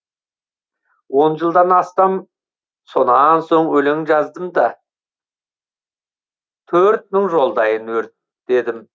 он жылдан астам сонан соң өлең жаздым да төрт мың жолдайын өртедім